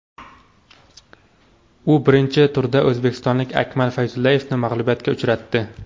U birinchi turda o‘zbekistonlik Akmal Fayzullayevni mag‘lubiyatga uchratdi.